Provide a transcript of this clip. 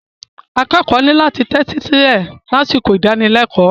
Akẹ́kọ̀ọ́ ní láti tẹ́tí sílẹ̀ lásìkò ìdánilẹ́kọ̀ọ́.